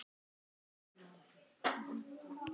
Ég vissi örfáa hluti.